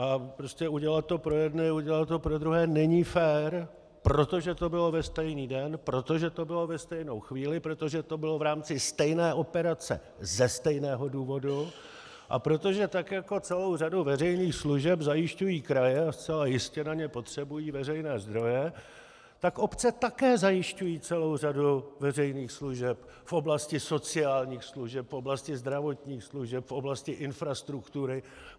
A prostě udělat to pro jedny, neudělat to pro druhé není fér, protože to bylo ve stejný den, protože to bylo ve stejnou chvíli, protože to bylo v rámci stejné operace ze stejného důvodu a protože tak jako celou řadu veřejných služeb zajišťují kraje a zcela jistě na ně potřebují veřejné zdroje, tak obce také zajišťují celou řadu veřejných služeb v oblasti sociálních služeb, v oblasti zdravotních služeb, v oblasti infrastruktury.